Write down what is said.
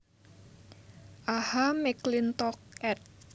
A H McLintock ed